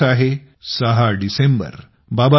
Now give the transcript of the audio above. हा दिवस आहे 6 डिसेंबर